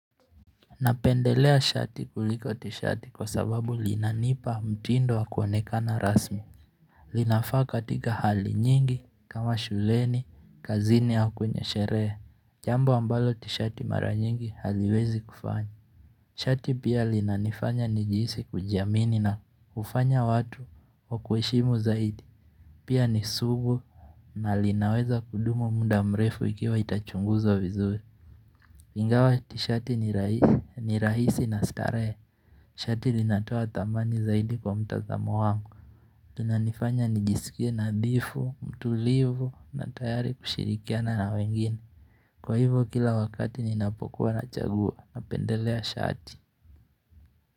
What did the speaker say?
Napendelea shati kuliko tishati kwa sababu linanipa mtindo wa kuonekana rasmi linafaa katika hali nyingi kama shuleni, kazini au kwenye sherehe Jambu ambalo tishati mara nyingi haliwezi kufanya Shati pia linanifanya nijihisi kujiamini na hufanya watu wakuheshimu zaidi Pia ni sugu na linaweza kudumu muda mrefu ikiwa itachunguzwa vizuri lingawa tishati ni rahisi na starehe. Shati linatoa thamani zaidi kwa mtazamo wangu. Inanifanya nijisikie nadhifu, mtulivu na tayari kushirikiana na wengine. Kwa hivo kila wakati ninapokuwa na chagua napendelea shati.